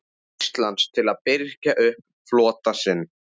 Íslands til að birgja upp flota sinn.